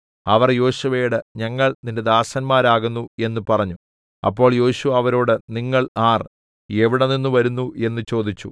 അവർ യോശുവയോട് ഞങ്ങൾ നിന്റെ ദാസന്മാരാകുന്നു എന്ന് പറഞ്ഞു അപ്പോൾ യോശുവ അവരോട് നിങ്ങൾ ആർ എവിടെനിന്ന് വരുന്നു എന്ന് ചോദിച്ചു